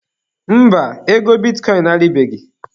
Mba, ego bitikọịn a rịbeghị elu.